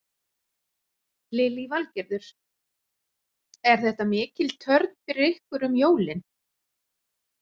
Lillý Valgerður: Er þetta mikil törn fyrir ykkur um jólin?